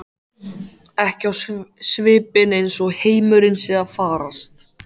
Ekki á svipinn eins og heimurinn sé að farast.